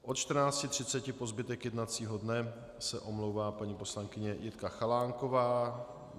Od 14.30 po zbytek jednacího dne se omlouvá paní poslankyně Jitka Chalánková.